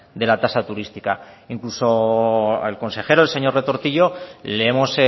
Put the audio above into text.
de la tasa turística e incluso al consejero señor retortillo le hemos